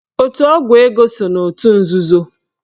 Otu ọgwụ ego so n'otu nzuzo.